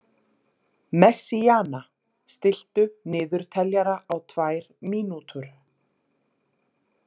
Messíana, stilltu niðurteljara á tvær mínútur.